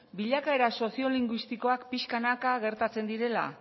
bilakaera soziolinguistikoak pixkanaka gertatzen direla